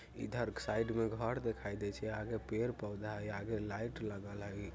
इधर क साइड में घर दिखाई दे छै आगे पेड़-पौधा हई आगे लाइट लगल हई।